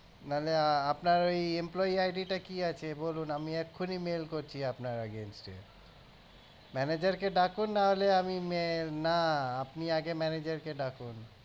নাহলে আপনার ওই employe ID টা কি আছে বলুন আমি এক্ষুনি mail করছি আপনার against এ manager কে ডাকুন নাহলে আমি mail না আপনি আগে manager কে ডাকুন